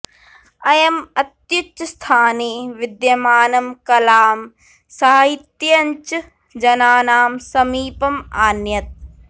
अयम् अत्युच्चस्थाने विद्यमानं कलां साहित्यञ्च जनानां समीपम् आनयत्